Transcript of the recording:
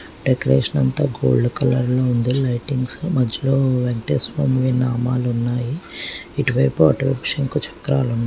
Decoration అంతా gold colour లో ఉంది. లైటింగ్ స్ మధ్యలో వెంకటేశ్వర స్వామి నామాలు ఉన్నాయి. ఇటువైపు అటువైపు శంకు చక్రాలు ఉన్నాయి.